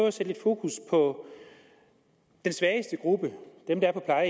at sætte fokus på den svageste gruppe dem der er